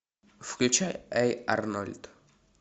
включай эй арнольд